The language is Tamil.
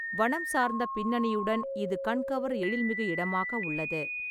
வனம் சார்ந்த பின்னணியுடன் இது கண்கவர் எழில்மிகு இடமாக உள்ளது.